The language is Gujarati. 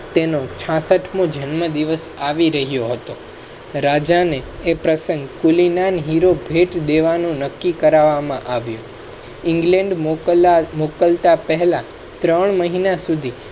તેનો છાસઠ મો જન્મ દિવસ આવી રહ્યો હતો. રાજા ને . હિરો ભેટ દેવા નું નક્કી કરવામાં આવ્યું. england મોકલતા પહેલા ત્રણ મહિના સુધી